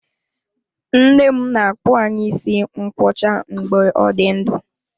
Nne m na-akpụ anyị isi ngwọcha mgbe ọ dị ndụ.